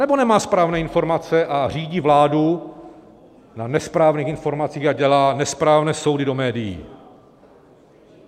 Anebo nemá správné informace a řídí vládu na nesprávných informací a dělá nesprávné soudy do médií?